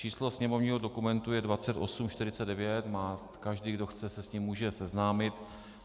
Číslo sněmovního dokumentu je 2849, každý, kdo chce, se s ním může seznámit.